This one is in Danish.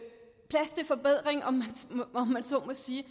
plads til forbedring om man så må sige